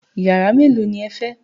Yàrá mélòó ni ẹ fẹ́?